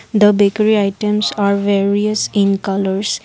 the bekary items are various in colours.